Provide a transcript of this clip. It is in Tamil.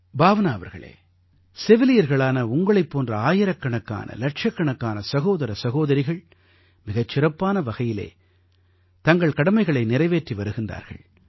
பாவ்னா அவர்களே செவிலியர்களான உங்களைப் போன்ற ஆயிரக்கணக்கான இலட்சக்கணக்கான சகோதர சகோதரிகள் மிகச் சிறப்பான வகையிலே தங்கள் கடமைகளை நிறைவேற்றி வருகிறார்கள்